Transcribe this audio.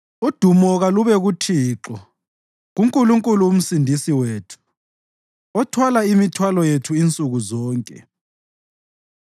Udumo kalube kuThixo, kuNkulunkulu uMsindisi wethu, othwala imithwalo yethu insuku zonke.